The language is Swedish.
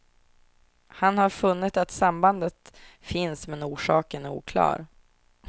Han har funnit att sambandet finns men orsaken är oklar.